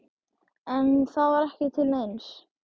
En það var ekki til neins.